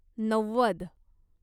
नव्वद